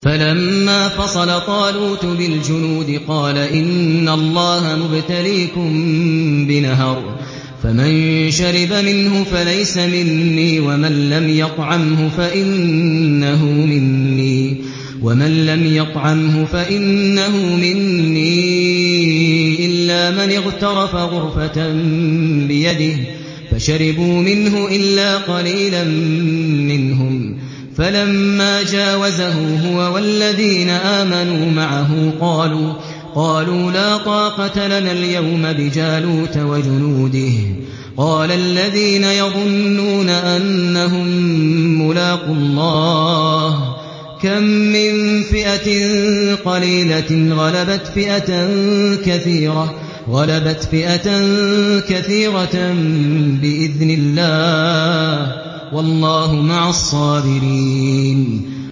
فَلَمَّا فَصَلَ طَالُوتُ بِالْجُنُودِ قَالَ إِنَّ اللَّهَ مُبْتَلِيكُم بِنَهَرٍ فَمَن شَرِبَ مِنْهُ فَلَيْسَ مِنِّي وَمَن لَّمْ يَطْعَمْهُ فَإِنَّهُ مِنِّي إِلَّا مَنِ اغْتَرَفَ غُرْفَةً بِيَدِهِ ۚ فَشَرِبُوا مِنْهُ إِلَّا قَلِيلًا مِّنْهُمْ ۚ فَلَمَّا جَاوَزَهُ هُوَ وَالَّذِينَ آمَنُوا مَعَهُ قَالُوا لَا طَاقَةَ لَنَا الْيَوْمَ بِجَالُوتَ وَجُنُودِهِ ۚ قَالَ الَّذِينَ يَظُنُّونَ أَنَّهُم مُّلَاقُو اللَّهِ كَم مِّن فِئَةٍ قَلِيلَةٍ غَلَبَتْ فِئَةً كَثِيرَةً بِإِذْنِ اللَّهِ ۗ وَاللَّهُ مَعَ الصَّابِرِينَ